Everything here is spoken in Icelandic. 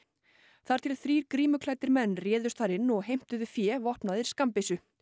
þar til þrír menn réðust þar inn og heimtuðu fé vopnaðir skammbyssu